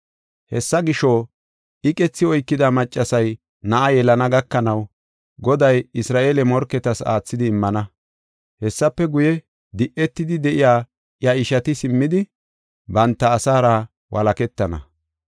Hessa gisho, iqethi oykida maccasiya na7aa yelana gakanaw, Goday Isra7eele morketas aathidi immana. Hessafe guye, di7etidi de7iya iya ishati simmidi, banta asaara walaketana.